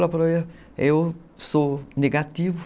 Ela falou, eu sou negativo.